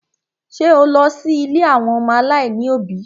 Ṣé o lọ sí ilé àwọn ọmọ aláìní òbí?